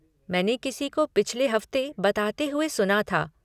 मैंने किसी को पिछले हफ़्ते बताते हुए सुना था।